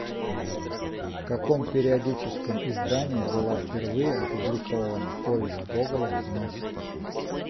в каком периодическом издании была впервые опубликована повесть гоголя нос